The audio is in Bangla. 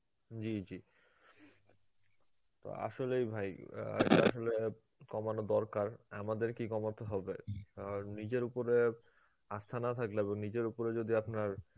জী জী তো আসলেই ভাই অ্যাঁ এটা আসলে কমানো দরকার, আমাদেরকেই কমাতে হবে কারণ নিজের উপরে আস্থা না থাকলে, এবং নিজের উপরে যদি আপনার